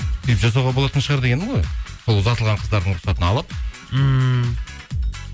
деп жасауға болатын шығар дегенім ғой сол ұзатылған қыздардың рұқсатын алып ммм